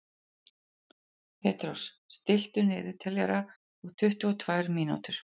Petrós, stilltu niðurteljara á tuttugu og tvær mínútur.